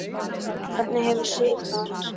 Hvernig hefur Sif það?